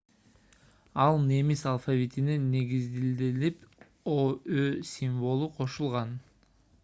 ал немис алфавитине негизиделип õ / õ символу кошулган